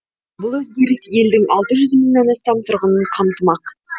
бұл өзгеріс елдің алты жүз мыңнан астам тұрғынын қамтымақ